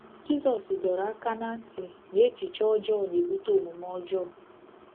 Jizọs dọrọ aka ná ntị na echiche ọjọọ na-ebute omume ọjọọ